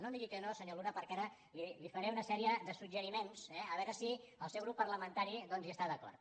no em digui que no senyor luna perquè ara li faré una sèrie de suggeriments eh a veure si el seu grup par·lamentari hi està d’acord